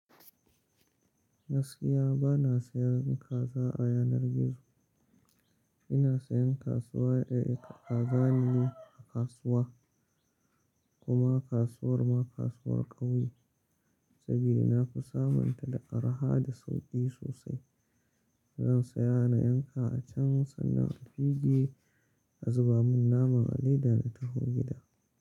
Gaskiya bana sayan kaza a yanar gizo. Ina sayan kasuwa, eh, kaza ne a kasuwa kuma kasuwar ma kasuwar ƙauye saboda na fi samunta da araha da sauƙi sosai. Zan saya na yanka a can sannan a fige a zuba mun naman a leda in taho gida.